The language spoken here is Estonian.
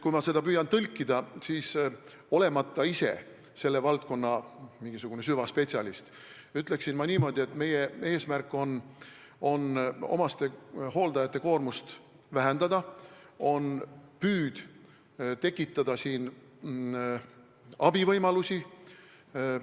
Kui ma püüan seda tõlkida, siis olemata ise selle valdkonna süvaspetsialist, ütlen ma niimoodi, et meie eesmärk on omastehooldajate koormust vähendada, meil on püüd tekitada abivõimalusi.